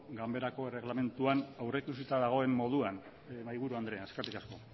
ganbarako erreglamentuan aurrikusita dagoen moduan mahaiburu andrea eskerrik asko